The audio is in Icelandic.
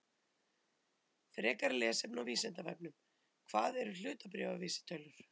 Frekara lesefni á Vísindavefnum: Hvað eru hlutabréfavísitölur?